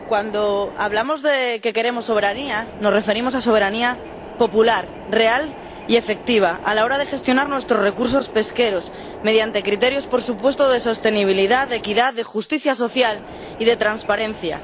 Señor presidente, cuando hablamos de que queremos soberanía nos referimos a soberanía popular real y efectiva a la hora de gestionar nuestros recursos pesqueros mediante criterios, por supuesto, de sostenibilidad, de equidad, de justicia social y de transparencia.